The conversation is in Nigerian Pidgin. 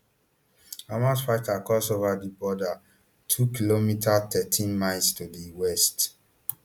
hamas fighters cross ova di border twokm thirteen miles to di west